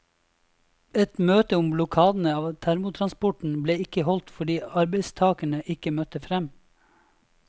Et møte om blokadene av termotransporten ble ikke holdt fordi arbeidstagerne ikke møtte frem.